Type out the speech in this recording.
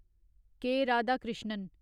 के. Radhakrishnan